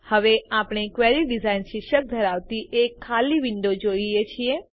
હવે આપણે query design શીર્ષક ધરાવતી એક ખાલી વિન્ડો જોઈએ છીએ